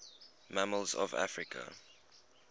mammals of africa